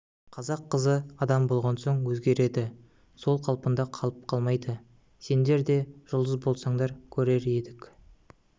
қазақ қызы адам болған соң өзгереді сол қалпында қалып қалмайды сендер де жұлдыз болсаңдар көрер едік